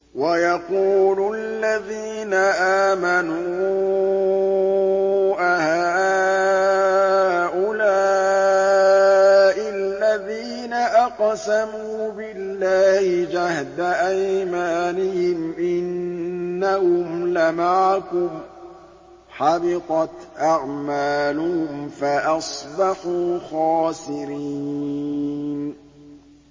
وَيَقُولُ الَّذِينَ آمَنُوا أَهَٰؤُلَاءِ الَّذِينَ أَقْسَمُوا بِاللَّهِ جَهْدَ أَيْمَانِهِمْ ۙ إِنَّهُمْ لَمَعَكُمْ ۚ حَبِطَتْ أَعْمَالُهُمْ فَأَصْبَحُوا خَاسِرِينَ